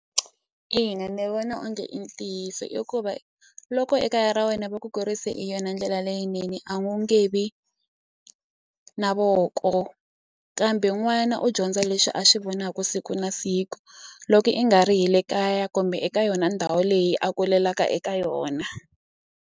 Ina ni vona onge i ntiyiso i ku va loko ekaya ra wena va ku kurise hi yona ndlela leyinene a wu nge vi na voko kambe n'wana u dyondza leswi a swi vonaku siku na siku loko i nga ri hi le kaya kumbe eka yona ndhawu leyi a kulelaka eka yona.